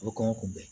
A bɛ kɔngɔ kunbɛn